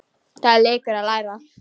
Það er leikur að læra